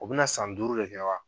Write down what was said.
O bɛna san duuru de kɛ wa